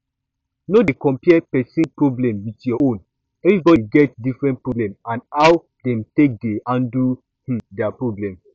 no dey compare person problem with your own everybody get different problem and how dem take dey handle um their problem